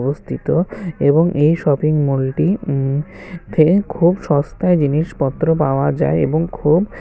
অবস্থিত এবং এই শপিংমলটি খুব সস্তায় জিনিসপত্র পাওয়া যায় এবং খুব--